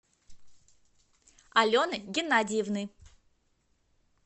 алены геннадиевны